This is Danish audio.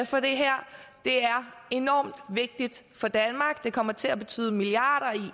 for det her det er enormt vigtigt for danmark det kommer til at betyde milliarder